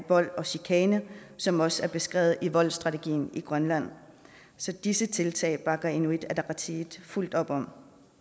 vold og chikane som også er beskrevet i voldsstrategien i grønland så disse tiltag bakker inuit ataqatigiit fuldt op om